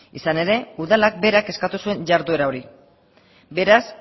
izan ere udalak berak eskatu zuen jarduera hori beraz